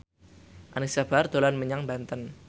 Anisa Bahar dolan menyang Banten